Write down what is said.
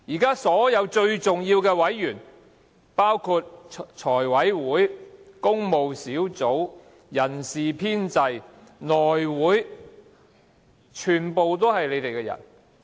現時所有最重要的委員，包括財務委員會、工務小組委員會、人事編制小組委員會及內務委員會，全部都是你們的人。